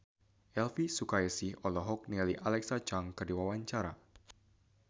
Elvi Sukaesih olohok ningali Alexa Chung keur diwawancara